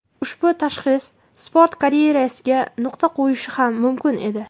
Ushbu tashxis sport karyerasiga nuqta qo‘yishi ham mumkin edi.